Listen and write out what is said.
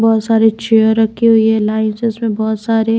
बहुत सारी चेयर रखी हुई है लाइंस उसमें बहुत सारी--